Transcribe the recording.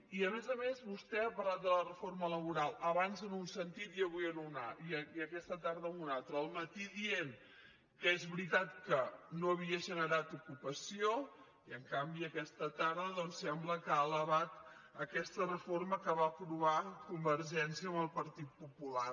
i a més a més vostè ha parlat de la reforma laboral abans en un sentit i aquesta tarda en un altre al matí dient que és veritat que no havia generat ocupació i en canvi aquesta tarda doncs sembla que ha alabat aquesta reforma que va aprovar convergència amb el partit popular